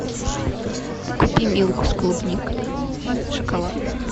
купи милку с клубникой шоколад